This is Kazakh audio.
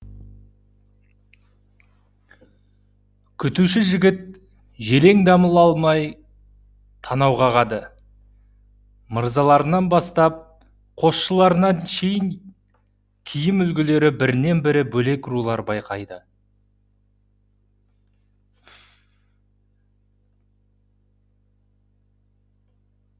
күтуші жігіт желең дамыл алмай танау қағады мырзаларынан бастап қосшыларына шейін киім үлгілері бірінен бірі бөлек рулар